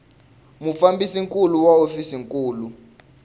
mufambisi nkulu wa hofisi nkulu